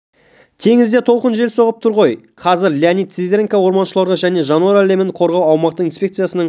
теңізде толқын жел соғып тұр ғой қазір леонид сидоренко орманшаруашылығы және жануарлар әлемін қорғау аумақтық инспекциясының